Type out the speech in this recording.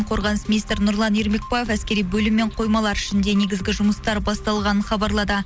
қорғаныс министрі нұрлан ермекбаев әскери бөлім мен қоймалар ішінде негізгі жұмыстар басталғанын хабарлады